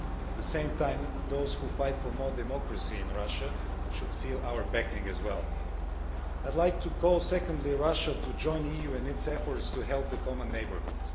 At the same time, those who fight for more democracy in Russia should feel our backing as well. Secondly, I would like to call Russia to join the EU in its efforts to help the common neighbourhood.